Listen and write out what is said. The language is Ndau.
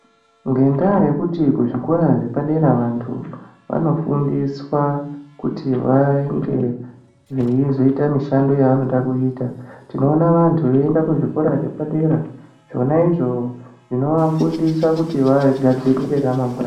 Ngendaa yekuti kuzvikora zvepadera vantu vanofundiswa kuti vange veizoita mishando yevanoda kuita, tinoona vantu veienda kuzvikora zvepadera. Zvona izvo zvinovafundisa kuti vagadzirire ramangwani.